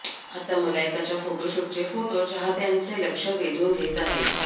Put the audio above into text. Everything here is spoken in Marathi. आता मलायकाच्या फोटोशूटचे फोटो चाहत्यांचे लक्ष वेधून घेत आहेत